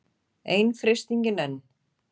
Ein freistingin enn.